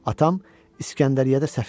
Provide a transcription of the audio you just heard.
Atam İskəndəriyyədə səfir idi.